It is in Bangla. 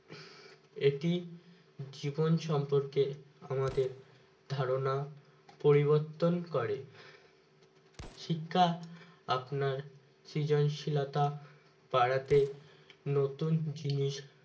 এটি জীবন সম্পর্কে আমাদের ধারণা পরিবর্তন করে শিক্ষা আপনার সৃজনশীলতা বাড়াতে নতুন জিনিস